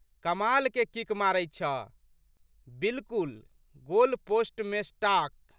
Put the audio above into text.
कमालके kick मारैत छह। बिल्कुल गोलपोस्टमेसटाक्।